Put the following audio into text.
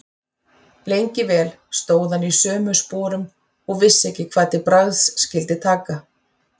Lengi vel stóð hann í sömu sporum og vissi ekki hvað til bragðs skyldi taka.